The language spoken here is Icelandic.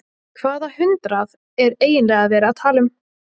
Hvaða hundrað er eiginlega verið að tala um?